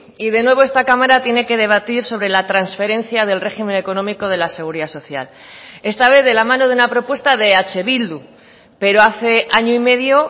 y de nuevo esta cámara tiene que debatir sobre la transferencia del régimen económico de la seguridad social esta vez de la mano de una propuesta de eh bildu pero hace año y medio